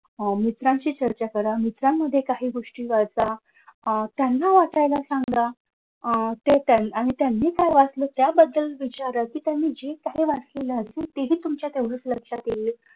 अह मित्रांशी चर्चा करा मित्रांमध्ये काही गोष्टी वाचा. अह त्यांना वाचायला सांगा. अह त्यान त्यांनी काय वाचले त्या बद्दल विचारा की त्यांनी जे काही वाचलेला असेल तेही तुमच्या तेवढच लक्षात येईल.